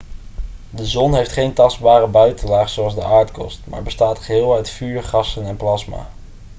de zon heeft geen tastbare buitenlaag zoals de aardkorst maar bestaat geheel uit vuur gassen en plasma